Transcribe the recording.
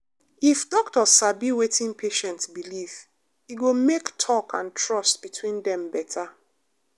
if doctor sabi wetin patient believe e go make talk and trust between dem better.